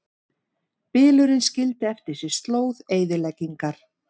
Bylurinn skildi eftir sig slóð eyðileggingar